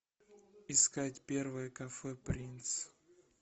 искать первое кафе принц